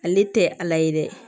Ale tɛ ala ye dɛ